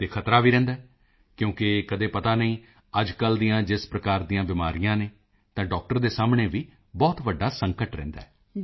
ਅਤੇ ਖਤਰਾ ਵੀ ਰਹਿੰਦਾ ਹੈ ਕਿਉਕਿ ਕਦੇ ਪਤਾ ਨਹੀਂ ਅੱਜਕੱਲ੍ਹ ਦੀਆਂ ਜਿਸ ਪ੍ਰਕਾਰ ਦੀਆਂ ਬਿਮਾਰੀਆਂ ਹਨ ਤਾਂ ਡਾਕਟਰ ਦੇ ਸਾਹਮਣੇ ਵੀ ਬਹੁਤ ਵੱਡਾ ਸੰਕਟ ਰਹਿੰਦਾ ਹੈ